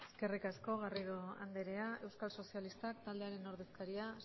eskerrik asko garrido andrea euskal sozialistak taldearen ordezkaria